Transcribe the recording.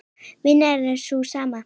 Vinnan er sú sama.